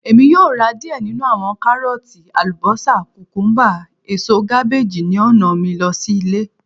Emi yoo ra diẹ ninu awọn Karooti, ​​alubosa, kukumba, eso kabeeji ni ọna mi lọ si ile